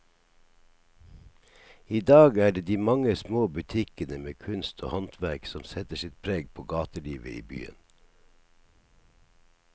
I dag er det de mange små butikkene med kunst og håndverk som setter sitt preg på gatelivet i byen.